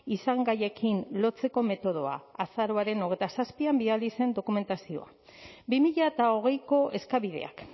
izangaiekin lotzeko metodoa azaroaren hogeita zazpian bidali zen dokumentazioa bi mila hogeiko eskabideak